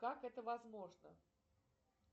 как это возможно